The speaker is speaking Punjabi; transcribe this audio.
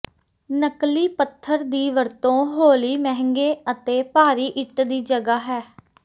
ਨਕਲੀ ਪੱਥਰ ਦੀ ਵਰਤੋ ਹੌਲੀ ਮਹਿੰਗੇ ਅਤੇ ਭਾਰੀ ਇੱਟ ਦੀ ਜਗ੍ਹਾ ਹੈ